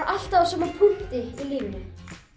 alltaf á sama punkti í lífinu